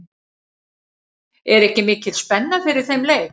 Er ekki mikil spenna fyrir þeim leik?